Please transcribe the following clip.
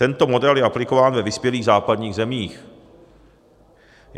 Tento model je aplikován ve vyspělých západních zemích.